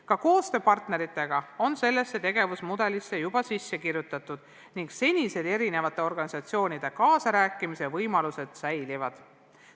Ka koostöö partneritega on sellesse tegevusmudelisse juba sisse kirjutatud ning senised eri organisatsioonide kaasarääkimise võimalused säilivad.